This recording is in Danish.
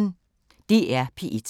DR P1